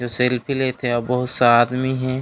जो सेल्फी लेत हे आऊ बहुत सा आदमी हे।